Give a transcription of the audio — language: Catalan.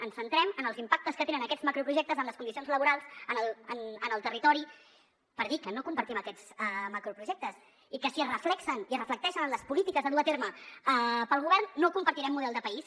ens centrem en els impactes que tenen aquests macroprojectes en les condicions laborals en el territori per dir que no compartim aquests macroprojectes i que si es reflecteixen en les polítiques a dur a terme pel govern no compartirem model de país